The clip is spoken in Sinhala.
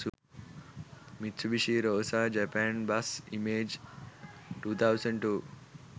mitsubishi rosa japan bus images 2002